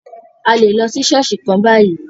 A lè lọ sí ṣọ̀ọ́sì kan bayìí.